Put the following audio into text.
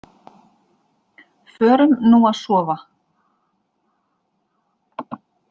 Förum nú að sofa.